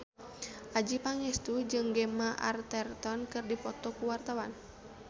Adjie Pangestu jeung Gemma Arterton keur dipoto ku wartawan